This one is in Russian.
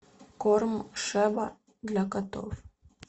корм шеба для котов